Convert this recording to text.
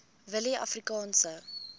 willieafrikaanse